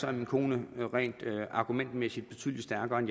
er min kone rent argumentmæssigt betydelig stærkere end